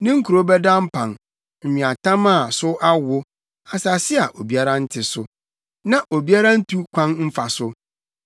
Ne nkurow bɛda mpan, nweatam a so awo, asase a obiara nte so, na obiara ntu kwan mfa so.